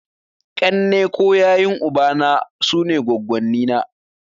Ƙanne ko yayun ubana (mata) sune goggonni na.